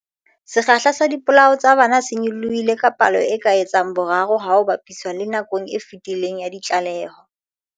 Sekgahla sa dipolao tsa bana se nyolohile ka palo e ka etsang boraro ha ho ba piswa le nakong e fetileng ya ditlaleho.